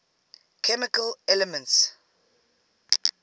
chemical elements